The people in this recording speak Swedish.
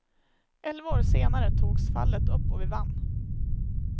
Elva år senare togs fallet upp och vi vann.